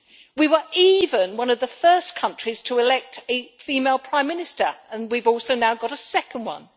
We were even one of the first countries to elect a female Prime Minister, and we have also now got a second one.